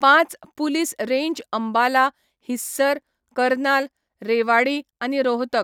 पांच police range Ambala, Hisar, Karnal, Rewari आनी रोहतक.